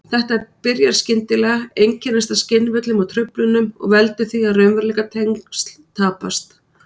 Þetta byrjar skyndilega, einkennist af skynvillum og-truflunum og veldur því að raunveruleikatengsl tapast.